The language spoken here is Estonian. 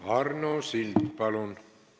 Arno Sild, palun!